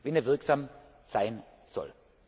muss, wenn er wirksam sein